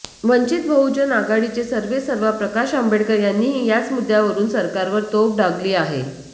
वंचित बहुनज आघाडीचे सर्वेसर्वा प्रकाश आंबेडकर यांनीही याच मुद्द्यावरून सरकारवर तोफ डागली आहे